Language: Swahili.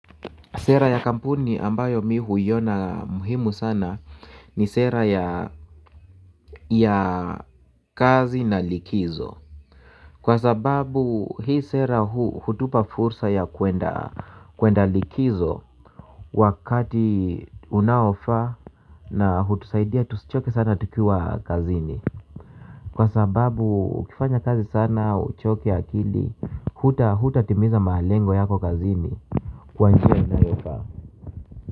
Sera ya kampuni ambayo mi huiona muhimu sana ni sera ya kazi na likizo. Kwa sababu hii sera huu hutupa fursa ya kuenda likizo wakati unaofaa na hutusaidia tusichoke sana tukiwa kazini. Kwa sababu ukifanya kazi sana uchoke akili hutatimiza malengo yako kazini kwa njia inayofaa.